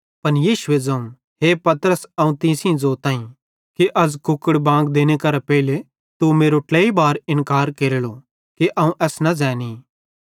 पन यीशुए ज़ोवं हे पतरस अवं तीं सेइं ज़ोताईं कि अज़ कुकड़े बांग देने करां पेइले तू मेरो ट्लाई बार इन्कार केरेलो कि अवं एस न ज़ैनी